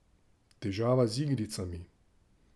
Težava z igricami?